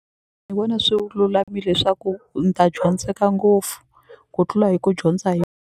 Ni vona swi lulamile swa ku ni ta dyondzeka ngopfu ku tlula hi ku dyondza hi.